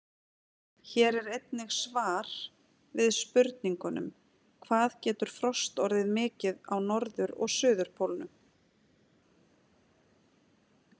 Hér er einnig svar við spurningunum: Hvað getur frost orðið mikið á norður- og suðurpólnum?